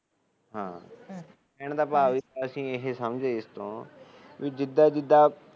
ਕਹਿਣ ਦਾ ਭਾਵ ਅਸੀ ਇਹ ਸਮਝੇ ਇਸ ਤੋਂ ਕਿ ਜਿਦਾ ਜਿਦਾ